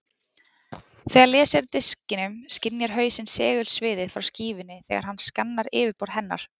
Þegar lesið er af diskinum skynjar hausinn segulsviðið frá skífunni þegar hann skannar yfirborð hennar.